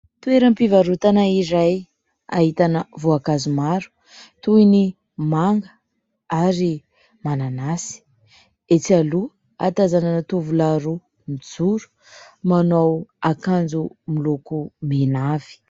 Fivarotana iray ahitana voankazo maro toy ny manga ary mananasy. Etsy aloha ahatazanana tovolahy roa mijoro manao akanjo moloko mena avy.